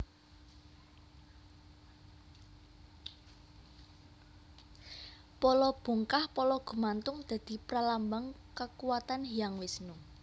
Pala bungkah pala gumantung dadi pralambang kakuwatan Hyang Wisnu